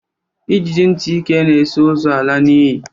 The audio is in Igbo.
Ijiji ntị ike na-eso ozu ala n'ili.